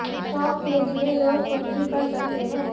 शौक के लिए लोग कुछ भी कर सकते है